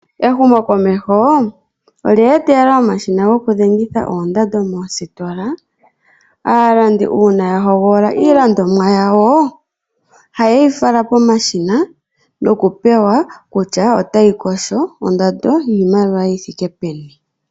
Ehumokomeho olya etelela omashina gokudhengitha oondando moositola. Aalandi ngele ya hogolola iilandomwa yawo, ohayi falwa komashina hoka haya pewa kutya oyi na ondando yiimaliwa yi thike peni.